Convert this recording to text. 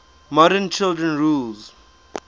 modern child rulers